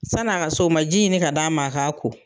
San'a ka s'o ma ji ɲini ka d'a ma a k'a ko.